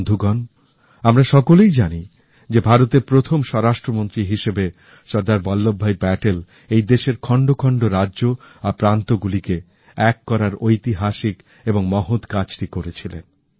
বন্ধুগণ আমরা সকলেই জানি যে ভারতের প্রথম স্বরাস্ট্র মন্ত্রী হিসেবে সর্দার বল্লভভাই প্যাটেল এই দেশের খন্ড খন্ড রাজ্য আর প্রান্তগুলিকে এক করার ঐতিহাসিক এবং মহৎ কাজটি করেছিলেন